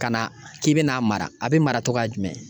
Ka na k'i bɛna a mara a bɛ mara cogoya jumɛn ?